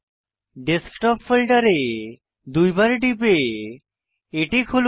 desktop ফোল্ডারে দুইবার টিপে এটি খুলুন